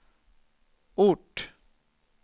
ort